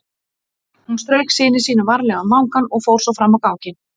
Hún strauk syni sínum varlega um vangann og fór svo fram á ganginn.